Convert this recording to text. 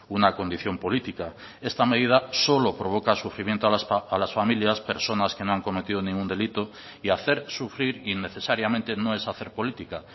una condición política esta medida solo provoca sufrimiento a las familias personas que no han cometido ningún delito y hacer sufrir innecesariamente no es hacer política